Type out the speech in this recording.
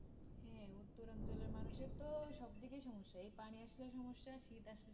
উত্তর অঞ্চলের মানুষের তো সব দিকেই সমস্যা এই পানিও জলের সম্যসা শীত আসলে